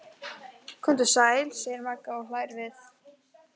Komdu sæl, segir Magga og hlær við.